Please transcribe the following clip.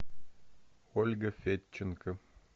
ольга федченко